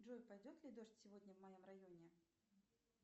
джой пойдет ли дождь сегодня в моем районе